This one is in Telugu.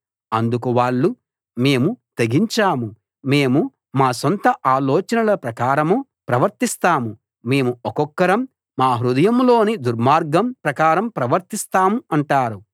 అందుకు వాళ్ళు మేము తెగించాము మేము మా సొంత ఆలోచనల ప్రకారం ప్రవర్తిస్తాం మేము ఒక్కొక్కరం మా హృదయంలోని దుర్మార్గం ప్రకారం ప్రవర్తిస్తాం అంటారు